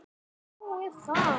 Þannig að þú.